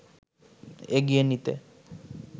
এগিয়ে নিতে